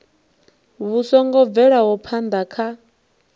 vhu songo bvelaho phana kha